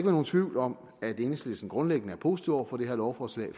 nogen tvivl om at enhedslisten grundlæggende er positiv over for det her lovforslag